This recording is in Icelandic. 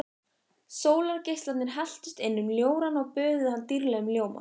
Sólargeislarnir helltust inn um ljórann og böðuðu hann dýrlegum ljóma.